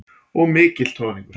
Og mikill troðningur.